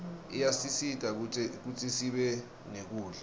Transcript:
iyasisita kutsisibe nekudla